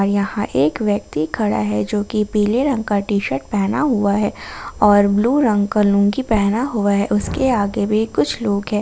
यहां एक व्यक्ति खड़ा है जो की पीले रंग का टी_शर्ट पहना हुआ है और ब्लू रंग का लुंगी पहने हुआ है उसके आगे भी कुछ लोग हैं।